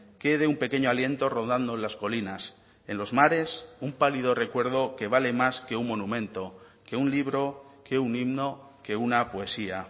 quede un pequeño aliento rodando en las colinas en los mares un pálido recuerdo que vale más que un monumento que un libro que un himno que una poesía